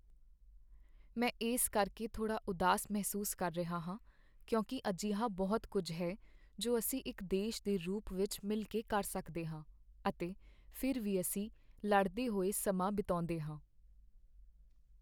ਮੈਂ ਇਸ ਕਰਕੇ ਥੋੜ੍ਹਾ ਉਦਾਸ ਮਹਿਸੂਸ ਕਰ ਰਿਹਾ ਹਾਂ ਕਿਉਂਕਿ ਅਜਿਹਾ ਬਹੁਤ ਕੁੱਝ ਹੈ ਜੋ ਅਸੀਂ ਇੱਕ ਦੇਸ਼ ਦੇ ਰੂਪ ਵਿੱਚ ਮਿਲ ਕੇ ਕਰ ਸਕਦੇ ਹਾਂ, ਅਤੇ ਫਿਰ ਵੀ ਅਸੀਂ ਲੜਦੇ ਹੋਏ ਸਮਾਂ ਬਿਤਾਉਂਦੇ ਹਾਂ।